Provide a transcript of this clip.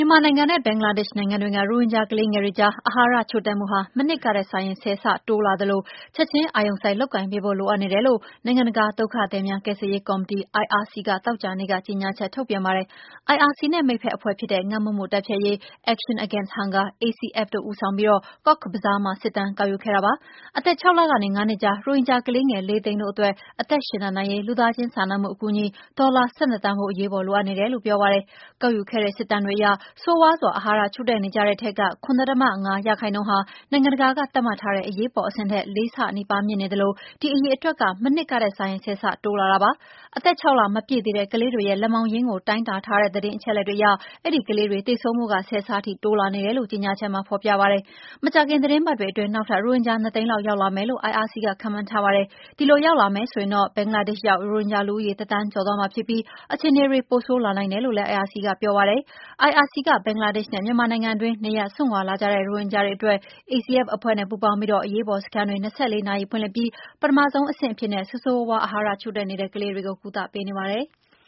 မာနိုင်ငံနဲ့ ဘင်္ဂလားဒေ့ရှ်နိုင်ငံတွင်းက ရိုဟင်ဂျာကလေးငယ်တွေကြား အာဟာရချို့တဲ့မှုဟာ မနှစ်ကထက်စာရင် ဆယ်ဆတိုးလာသလို ချက်ချင်း အာရုံစိုက် လုပ်ကိုင်ပေးဖို့ လိုအပ်နေတယ်လို့ နိုင်ငံတကာ ဒုက္ခသည်များကယ်ဆယ်ရေးကော်မတီ IRC ကသောကြာနေ့က ကြေညာချက် ထုတ်ပြန်ပါတယ်။ IRC နဲ့ မိတ်ဖက်အဖွဲ့ဖြစ်တဲ့ ငတ်မွတ်မှုတိုက်ဖျက်ရေး Action Against Hunger (ACF) တို့က ဦးဆောင်ပြီး Cox Bazar မှာ စစ်တမ်းကောက်ယူခဲ့တာပါ။ အသက် ၆ လကနေ ၅ နှစ်ကြား ရိုဟင်ဂျာကလေးငယ် ၄ သိန်းတို့အတွက် အသက်ရှင်သန်နိုင်ရေး လူသားချင်းစာနာမှုအကူအညီ ဒေါ်လာ ၁၂ သန်းဖိုး အရေးပေါ်လိုအပ်နေတယ်လို့ပြောပါတယ်။ ကောက်ယူခဲ့တဲ့ စစ်တမ်းတွေအရ ဆိုးရွားစွာ အာဟာရချို့နေကြတဲ့ထဲက ၇.၅ % ဟာ နိုင်ငံတကာက သတ်မှတ်ထားတဲ့အရေးပေါ် အဆင့်ထက် ၄ ဆနီးပါးမြင့်နေသလို ဒီအရေအတွက်က မနှစ်ကထက်စာရင် ဆယ်ဆတိုးလာတာပါ။ အသက် ၆ လမပြည့်သေးတဲ့ ကလေးတွေရဲ့ လက်မောင်းရင်းကို တိုင်းတာထားတဲ့ အချက်အလက်တွေအရ အဲဒီကလေးတွေ သေဆုံးမှု ဆယ်ဆထိ တိုးလာနေတာတွေ့ရကြောင်း ကြေညာချက်မှာ ဖော်ပြပါတယ်။ မကြာခင် သီတင်းပတ်တွေအတွင်း နောက်ထပ်ရိုဟင်ဂျာ ၂ သိန်းလောက်ရောက်လာမယ်လို့ IRC ကခန့်မှန်းထားပါတယ်။ ဒီလိုရောက်လာမယ်ဆိုရင်တော့ ဘင်္ဂလားဒေ့ရ်ှရောက် ရိုဟင်ဂျာဦးရေ တသန်းကျော်သွားမှာဖြစ်ပြီး အခြေအနေတွေ ပိုဆိုးလာနိုင်တယ်လို့လည်း IRC ကပြောပါတယ်။ IRC ကဘင်္ဂလားဒေ့ရှ်နဲ့ မြန်မာနိုင်ငံတွင်း နေရပ်စွန့်ခွါလာကြတဲ့ ရိုဟင်ဂျာတွေအတွက် ACF က အရေးပေါ်စခန်းတွေ ၂၄ နာရီဖွင့်လှစ်ပြီး ပထမဆုံးအဆင့်အဖြစ် ဆိုးရွားစွာ အာဟာရချို့တဲ့နေတဲ့ ကလေးတွေကို ကုသပေးနေပါတယ်။